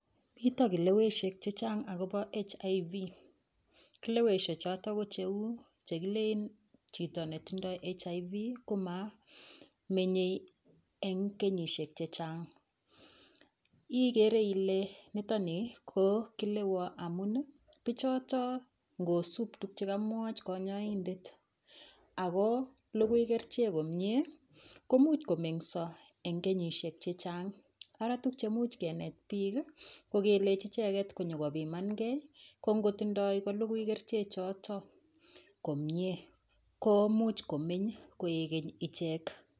Mito kileshek chechang akobo HIV kileweshe choto ko cheu chekilin chito netindoi HIV komamenyei eng kenyishek chechang igere ile nitoni ko kilewo pichoto ngusun tukche kamwoch kanyaidet ako lugui kerchek komyee komuch komengiso eng kenyishek chechang ara tukche muuch kenet piik ko kelechi icheket konyikopimangei kongotindoi kolugui kerchek choto komyee komuch komeny ichek koekeny.